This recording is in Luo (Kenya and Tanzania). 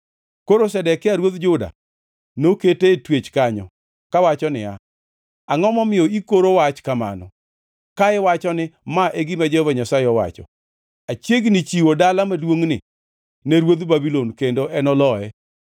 Koro Zedekia ruodh Juda nokete e twech kanyo, kawacho niya, “Angʼo momiyo ikoro wach kamano? Ka iwacho ni, ‘Ma e gima Jehova Nyasaye owacho: Achiegni chiwo dala maduongʼni ne ruodh Babulon, kendo enoloye.